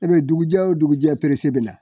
E be dugujɛ o dugujɛ bɛna